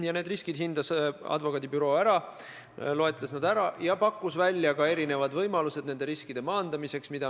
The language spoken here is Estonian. Ja need riskid hindas advokaadibüroo ära, loetles need ja pakkus välja ka erinevad võimalused nende riskide maandamiseks.